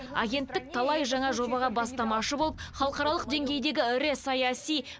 агенттік талай жаңа жобаға бастамашы болып халықаралық деңгейдегі ірі саяси